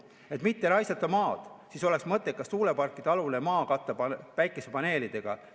Et mitte raisata maad, oleks mõttekas tuuleparkidealune maa katta päikesepaneelidega.